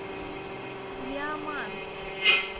виаман